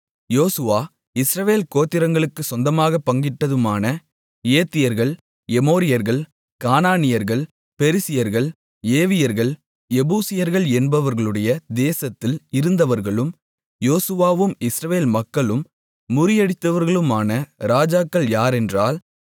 யோசுவா இஸ்ரவேல் கோத்திரங்களுக்குச் சொந்தமாகப் பங்கிட்டதுமான ஏத்தியர்கள் எமோரியர்கள் கானானியர்கள் பெரிசியர்கள் ஏவியர்கள் எபூசியர்கள் என்பவர்களுடைய தேசத்தில் இருந்தவர்களும் யோசுவாவும் இஸ்ரவேல் மக்களும் முறியடித்தவர்களுமான ராஜாக்கள் யாரென்றால்